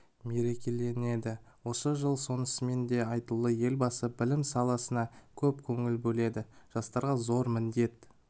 мерекеленеді осы жыл сонысымен де айтулы елбасы білім саласына көп көңіл бөледі жастарға зор міндет